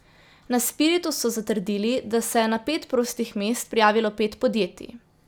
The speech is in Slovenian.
Na Spiritu so zatrdili, da se je na pet prostih mest prijavilo pet podjetij.